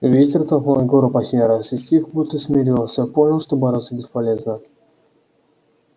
ветер толкнул егора последний раз и стих будто смирился понял что бороться бесполезно